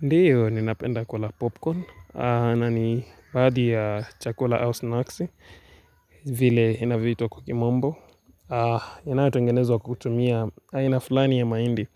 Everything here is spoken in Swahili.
Ndio, ninapenda kula popcorn na ni baadhi ya chakula au snacks vile inavyoitwa kwa kimombo inayotongenezwa kutumia aina fulani ya mahindi